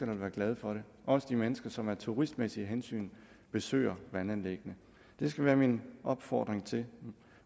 vil være glade for det også de mennesker som af turistmæssige hensyn besøger vandanlæggene det skal være min opfordring til